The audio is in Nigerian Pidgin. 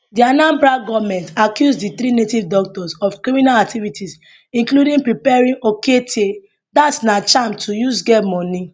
di anambra goment accuse di three native doctors of criminal activities including preparing okeite dat na charm to use get money